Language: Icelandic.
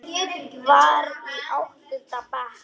Var í áttunda bekk.